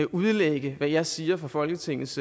udlægge hvad jeg siger fra folketingets